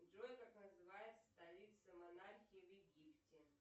джой как называется столица монархии в египте